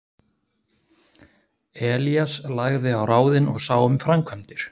Elías lagði á ráðin og sá um framkvæmdir.